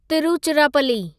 Tiruchirappalli